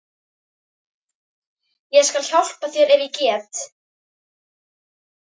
Ég skal hjálpa þér ef ég get.